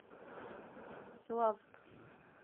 славск